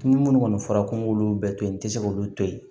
Ni minnu kɔni fɔra ko n k'olu bɛɛ to yen n tɛ se k'olu to yen